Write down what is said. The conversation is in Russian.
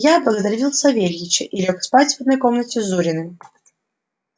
я благодарил савельича и лёг спать в одной комнате с зуриным